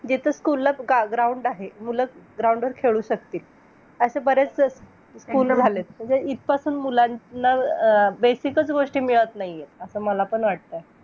आहार रसाचे शरी शरीराच्या विविध अवस्थे नुसार खालीलप्रमाणे चतुर्वेद कार्य करीत असतो तर पण बाल्य तारुण्य व वारधेके या वयाच्या तिनी अवस्थेमध्ये आहार रसाचे शरीराचे धातूप्रमाणे चे दर्पण करीत असतो .